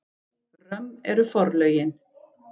Römm eru forlögin.